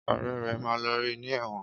Õrè ré máa lọ rí ní ẹ̀wọ̀n.